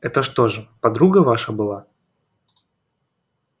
это что же подруга ваша была